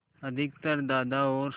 अधिकतर दादा और